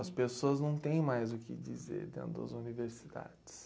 As pessoas não têm mais o que dizer dentro das universidades.